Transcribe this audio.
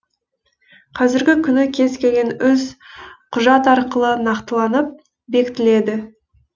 қазіргі күні кез келген іс құжат арқылы нақтыланып бекітіледі